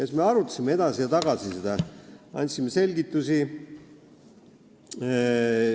Siis me arutasime seda edasi ja tagasi, andsime selgitusi.